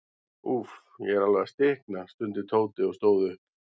Úff, ég er alveg að stikna stundi Tóti og stóð upp.